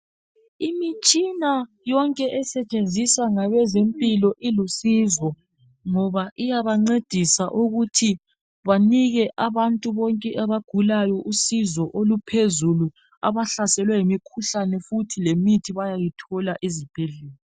Imitshina yonke esetshenziswa ngabezempilo ilusizo, ngoba iyabancedisa ukuthi banike abantu bonke abagulayo usizo oluphezulu, abahlaselwe yimikhuhlane futhi lemithi bayayithola ezibhedlela.